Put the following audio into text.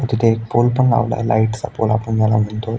तिथे एक पोल पण लवलेला आहे लाइट चा पोल आपण म्हणतो.